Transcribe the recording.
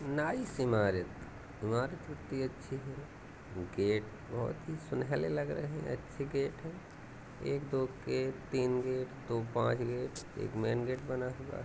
नाइस इमारत इमारत इतनी अच्छी है| गेट बहोत ही सुनहरे लग रहे हैं अच्छे गेट है| एक दो गेट तीन गेट दो पांच गेट एक मेन गेट बना हुआ हैं।